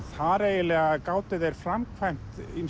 þar eiginlega gátu þeir framkvæmt